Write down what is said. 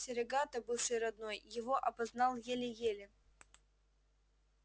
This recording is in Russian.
серегато бывший родной его опознал еле-еле